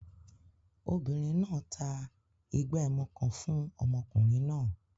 Obìnrin náà ta ìgbà ẹmu kan fún ọmọkùnrin náà